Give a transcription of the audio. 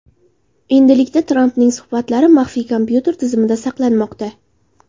Endilikda Trampning suhbatlari maxfiy kompyuter tizimida saqlanmoqda.